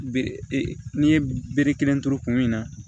Be e n'i ye bere kelen turu kun min na